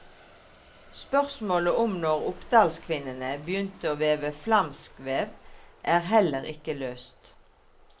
Spørsmålet om når oppdalskvinnene begynte å veve flamskvev, er heller ikke løst.